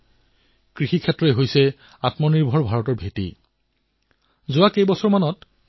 হাৰিয়ানাৰ সোনীপত জিলাত আমাৰ এজন কৃষক ভাই থাকে তেওঁৰ নাম শ্ৰী কম্বৰ চৌহান